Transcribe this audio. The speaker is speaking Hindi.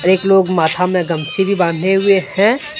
एक लोग माथा में गमछी भी बांधे हुए हैं।